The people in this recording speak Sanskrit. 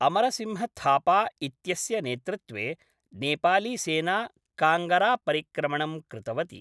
अमरसिंहथापा इत्यस्य नेतृत्वे नेपालीसेना काङ्गरापरिक्रमणं कृतवती ।